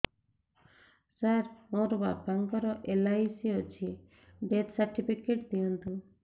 ସାର ମୋର ବାପା ଙ୍କର ଏଲ.ଆଇ.ସି ଅଛି ଡେଥ ସର୍ଟିଫିକେଟ ଦିଅନ୍ତୁ